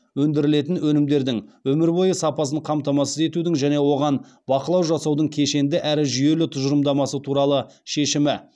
өндірілетін өнімдердің өмір бойы сапасын қамтамасыз етудің және оған бақылау жасаудың кешенді әрі жүйелі тұжырымдамасы туралы шешімі